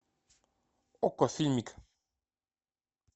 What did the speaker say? окко фильмик